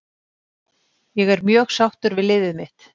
Ég er mjög sáttur við liðið mitt.